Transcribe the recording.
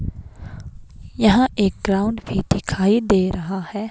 यहां एक ग्राउंड भी दिखाई दे रहा है।